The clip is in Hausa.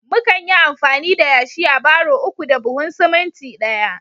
mukan yi amfani da yashi a barro uku da buhun siminti ɗaya